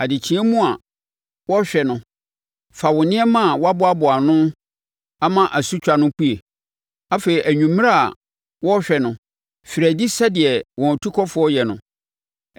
Adekyeɛ mu a wɔrehwɛ no, fa wo nneɛma a woaboa ano ama asutwa no pue. Afei anwummerɛ a wɔrehwɛ no, firi adi sɛdeɛ wɔn atukɔfoɔ yɛ no.